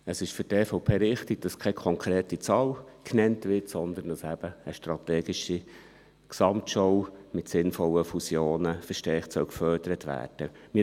Für die EVP ist es richtig, dass keine konkrete Zahl genannt wird, sondern dass eben eine strategische Gesamtschau mit sinnvollen Fusionen verstärkt gefördert werden soll.